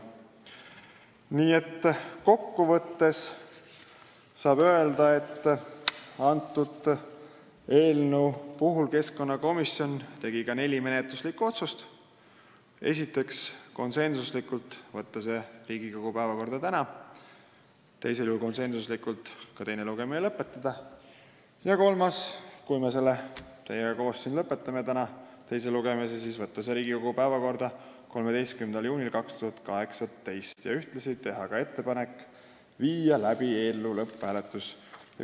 Kokku võttes saab öelda, et keskkonnakomisjon tegi eelnõu kohta ka neli menetluslikku otsust: esiteks, ettepanek võtta eelnõu Riigikogu päevakorda tänaseks, teiseks, eelnõu teine lugemine lõpetada, kolmandaks, kui me selle teise lugemise siin teiega koos täna lõpetame, võtta eelnõu Riigikogu päevakorda 13. juuniks 2018 ja ühtlasi viia läbi ka eelnõu lõpphääletus.